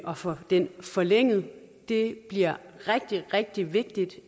at få den forlænget det bliver rigtig rigtig vigtigt